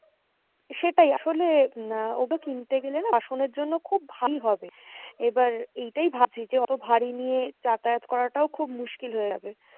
সেটাই আসলে আহ ওটা কিনতে গেলেনা বাসনের জন্য খুব ভারী হবে এবার এটাই ভাবছি যে অতো ভারী নিয়ে যাতায়াত করাটাও খুব মুশকিল হয়ে যাবে।